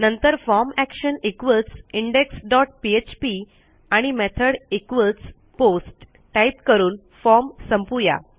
नंतर form action equals indexपीएचपी आणि मेथॉड post टाईप करून फॉर्म संपवू या